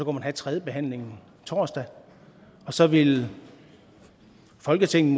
man have tredjebehandlingen torsdag og så ville folketinget